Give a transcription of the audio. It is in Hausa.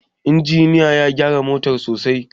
injiniyan ya gyara motar sosai